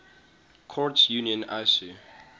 courts union icu